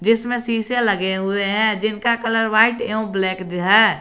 जिसमें शीशे लगे हुए हैं जिनका कलर व्हाइट एवं ब्लैक है।